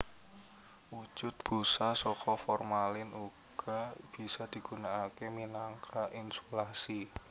Wujud busa saka formalin uga bisa digunakaké minangka insulasi